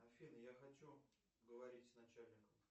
афина я хочу говорить с начальником